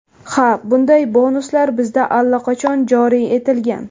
Ha, bunday bonuslar bizda allaqachon joriy etilgan.